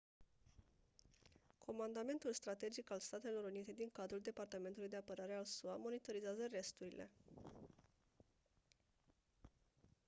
comandamentul strategic al statelor unite din cadrul departamentului de apărare al sua monitorizează resturile